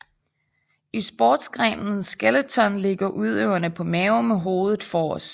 I sportsgrenen skeleton ligger udøverne på maven med hovedet forrest